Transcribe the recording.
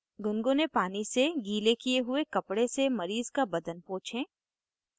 गुनगुने पानी से give किये हुए कपडे से मरीज़ का बदन पोछें